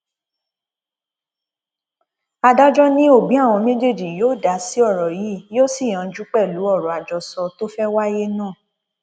adájọ ni òbí àwọn méjèèjì yóò dá sí ọrọ yìí yóò sì yanjú pẹlú ọrọ àjọsọ tó fẹẹ wáyé náà